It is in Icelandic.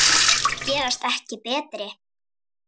Gerast ekki betri.